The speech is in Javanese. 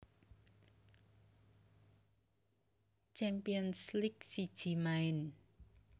Champions League siji maen